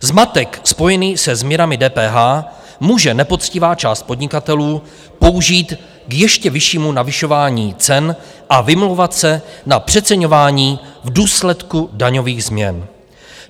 Zmatek spojený se změnami DPH může nepoctivá část podnikatelů použít k ještě vyššímu navyšování cen a vymlouvat se na přeceňování v důsledku daňových změn.